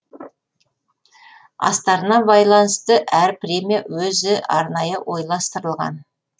астарына байланысты әр премия өзі арнайы ойластырылған